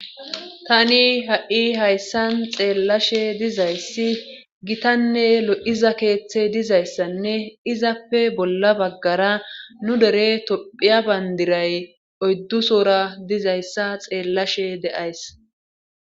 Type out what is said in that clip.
Tani ha7i hayssan xeellashe dizayssi gitanne lo7iza keeththe dizayssanne izappe bolla baggara nu dere tophiya bayndiray oyddusora dizayssa xeellashe de7ays